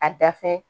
A da fɛ